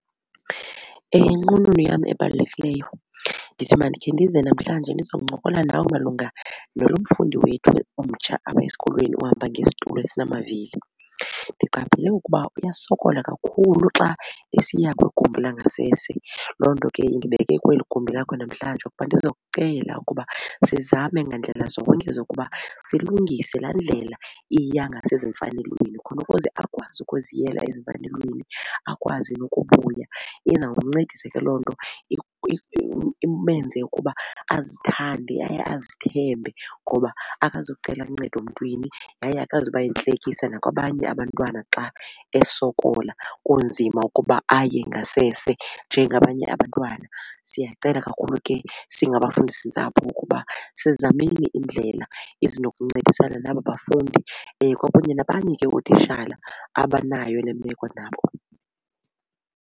Nqununu yam ebalulekileyo ndithi mandikhe ndize namhlanje ndizokuncokola nawe malunga nalo mfundi wethu omtsha apha esikolweni ohamba ngesitulo esinamavili. Ndiqaphele ukuba uyasokola kakhulu xa esiya kwigumbi langasese. Loo nto ke indibeke kweli gumbi lakho namhlanje ukuba ndiza kucela ukuba sizame ngandlela zonke zokuba silungise laa ndlela iya ngasezimfanelweni khona ukuze akwazi ukuziyela ezimfanelweni akwazi nokubuya. Izawumncedisa ke loo nto imenze ukuba azithande yaye azithembe ngoba akazucela luncedo mntwini yaye akazuba yintlekisa nakwabanye abantwana xa esokola kunzima ukuba aye ngasese njengabanye abantwana. Siyacela kakhulu ke singabafundisintsapho ukuba sizameni iindlela ezinokuncedisana naba bafundi kwakunye nabanye ke ootishala abanayo le meko nabo.